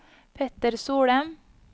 Petter Solem